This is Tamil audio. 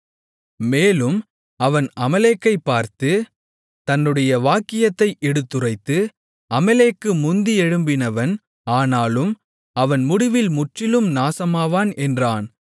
மேலும் அவன் அமலேக்கைப் பார்த்து தன்னுடைய வாக்கியத்தை எடுத்துரைத்து அமலேக்கு முந்தியெழும்பினவன் ஆனாலும் அவன் முடிவில் முற்றிலும் நாசமாவான் என்றான்